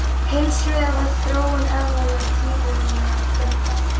Hins vegar var þróun eðlanna gífurlega fjölbreytileg.